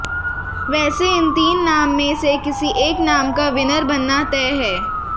वैसे इन तीन नाम में से किसी एक नाम का विनर बनना तय है